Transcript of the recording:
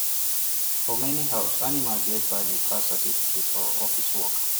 for many house animal get more value pass certificate or office work